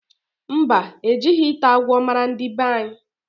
Mba, ejighi ita agwo mara ndi banyi